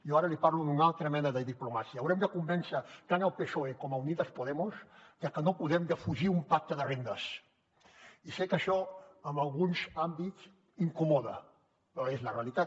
jo ara li parlo d’una altra mena de diplomàcia haurem de convèncer tant el psoe com unidas podemos de que no podem defugir un pacte de rendes i sé que això en alguns àmbits incomoda però és la realitat